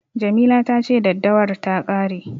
Jamila ta ce daddawar ta ƙare.